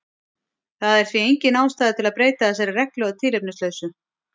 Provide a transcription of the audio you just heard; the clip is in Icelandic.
Það er því engin ástæða til að breyta þessari reglu að tilefnislausu.